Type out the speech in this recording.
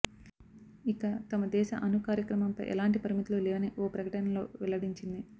ఇక తమ దేశ అణు కార్యక్రమంపై ఎలాంటి పరిమితులు లేవని ఓ ప్రకటనలో వెల్లడించింది